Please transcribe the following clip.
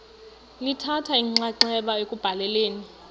lithatha inxaxheba ekubhaleni